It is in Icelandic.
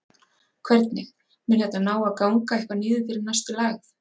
Hvernig, mun þetta ná að ganga eitthvað niður fyrir næstu lægð?